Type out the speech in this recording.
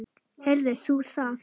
Heyrðir þú það?